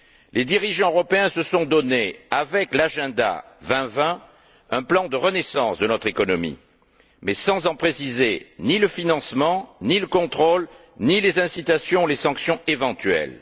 Les dirigeants européens se sont donné, avec l'Agenda 2020, un plan de renaissance de notre économie, mais sans en préciser ni le financement, ni le contrôle, ni les incitations ou les sanctions éventuelles.